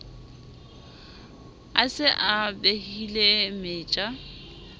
a se a behile meja